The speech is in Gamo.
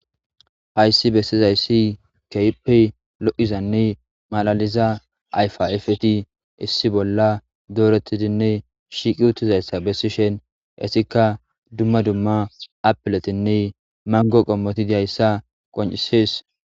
Haysi besizaysi kehippe lo'izane malaliza ayfa ayfati issi bolla doretidine shiqi utidaysa etika dumma dumma appiletinne mango qommoti dizaysa qoncises